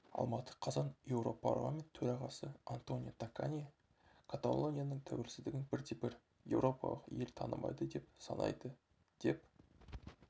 алматы қазан еуропарламент төрағасы антонио такани каталонияның тәуелсіздігін бірде-бір еуропалық ел танымайды деп санайды деп